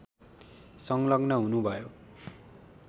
संलग्न हुनुभयो